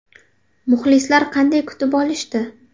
Muxlislar qanday kutib olishdi?